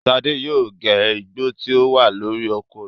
Ṣadé yóò gé Igbo tí ó wà lórí oko rẹ̀.